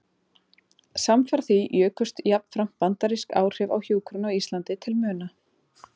Samfara því jukust jafnframt bandarísk áhrif á hjúkrun á Íslandi til muna.